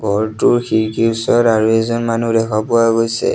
ঘৰটোৰ খিৰিকীৰ ওচৰত আৰু এজন মানুহ দেখা পোৱা গৈছে।